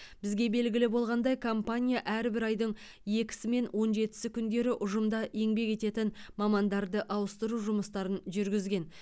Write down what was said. бізге белгілі болғандай компания әрбір айдың екісі және он жетісі күндері ұжымда еңбек ететін мамандарды ауыстыру жұмыстарын жүргізген